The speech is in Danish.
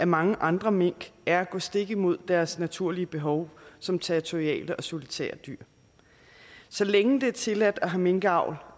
mange andre mink er at gå stik imod deres naturlige behov som territoriale og solitære dyr så længe det er tilladt at have minkavl